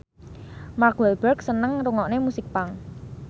Mark Walberg seneng ngrungokne musik punk